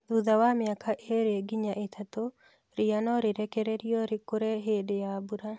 Thutha wa mĩaka ĩlĩ nginya ĩtatũ, ria no rĩrekererio rĩkũle hĩndĩ ya mbura